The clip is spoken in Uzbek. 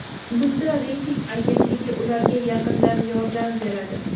bunda reyting agentligi ularga yaqindan yordam beradi.